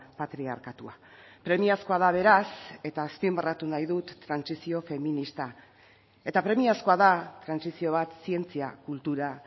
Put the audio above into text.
patriarkatua premiazkoa da beraz eta azpimarratu nahi dut trantsizio feminista eta premiazkoa da trantsizio bat zientzia kultura